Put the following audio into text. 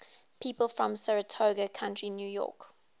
people from saratoga county new york